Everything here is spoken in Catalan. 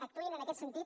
actuïn en aquest sentit